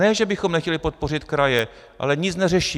Ne že bychom nechtěli podpořit kraje, ale nic neřeší.